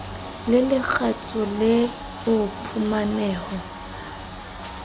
le lekgetho le o phumaneho